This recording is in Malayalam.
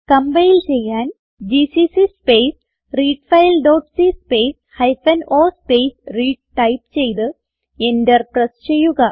കംപൈൽ ചെയ്യാൻ GCC space read file dot c space hyphen o space read type ചെയ്ത് എന്റർ പ്രസ് ചെയ്യുക